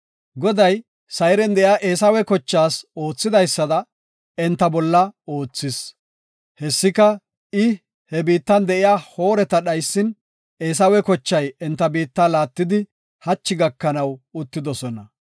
Goday Sayren de7iya Eesawe kochaas oothidaysada, enta bolla oothis. Hessika I he biittan de7iya Hoorata dhaysin, Eesawe kochay enta biitta laattidi hachi gakanaw uttidosona.